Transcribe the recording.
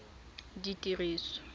ditiriso